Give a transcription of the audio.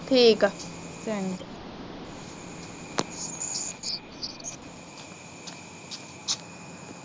ਠੀਕ ਆ।